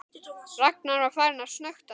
Ragnar var farinn að snökta.